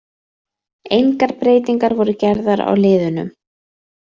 Engar breytingar voru gerðar á liðunum.